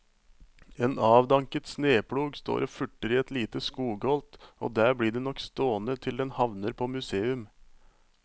En avdanket sneplog står og furter i et lite skogholt og der blir den nok stående til den havner på museum.